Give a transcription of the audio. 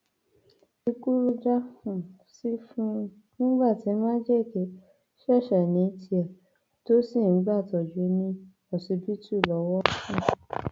ikú ló já um sí fún un nígbà tí májèké ṣẹṣẹ ní tiẹ tó sì ń gbàtọjú ní ọsibítù lọwọ um